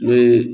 Ne ye